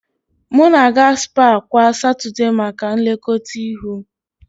M na-aga spaa kwa Satọdee maka nlekọta ihu.